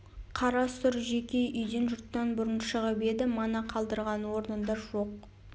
қара сұр жекей үйден жұрттан бұрын шығып еді мана қалдырған орнында жоқ